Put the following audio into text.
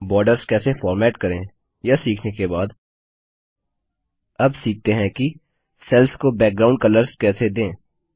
borders कैसे format करें यह सीखने के बाद अब सीखते हैं कि सेल्स को बैकग्राउंड कलर्स कैसे दें